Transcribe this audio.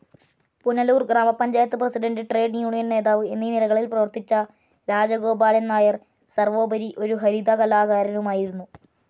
Punalur grama panchayat president trade union നേതാവ് എന്നീ നിലകളിൽ പ്രവർത്തിച്ച രാജഗോപാലൻ നായർ സർവോപരി ഒരു ഹരികഥാ കലാകാരനുമായിരുന്നു.